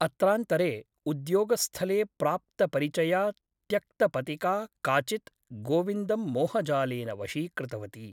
अत्रान्तरे उद्योगस्थले प्राप्तपरिचया त्यक्तपतिका काचित् गोविन्दं मोहजालेन वशीकृतवती ।